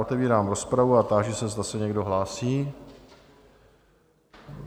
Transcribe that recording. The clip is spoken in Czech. Otevírám rozpravu a táži se, zda se někdo hlásí?